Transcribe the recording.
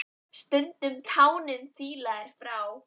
Stundum tánum fýla er frá.